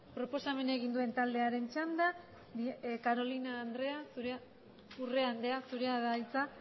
proposamena egin duen taldearen txanda urrea andrea zurea da hitza